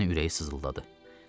O güclə ürəyi sızıldadı.